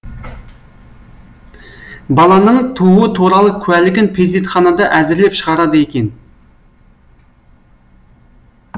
баланың тууы туралы куәлігін перзентханада әзірлеп шығарады екен